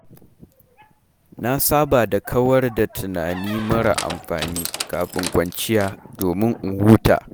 Na saba da kawar da tunani marar amfani, kafin kwanciya domin in huta.